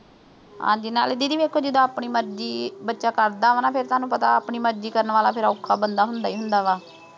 ਹਾਂਜੀ ਨਾਲੇ didi ਵੇਖੋ ਜਿੱਦਾਂ, ਆਪਣੀ ਮਰਜ਼ੀ ਬੱਚਾ ਕਰਦਾ ਗਾ ਨਾ। ਫਿਰ ਤੁਹਾਨੂੰ ਪਤਾ ਆਪਣੀ ਮਰਜ਼ੀ ਕਰਨ ਵਾਲਾ ਬੰਦਾ ਔਖਾ ਫਿਰ ਹੁੰਦਾ ਹੀ ਹੁੰਦਾ।